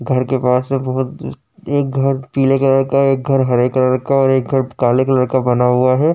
घर के पास से बहोत एक घर पीले कलर का है। एक घर हरे कलर का है और एक घर काले कलर का बना हुआ है।